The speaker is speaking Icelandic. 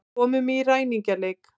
Komum í ræningjaleik.